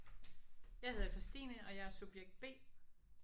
Jeg hedder Christine og jeg er subjekt B